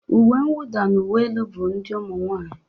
Uwe nwụda na uwe elu bụ nke ụmụ nwaanyị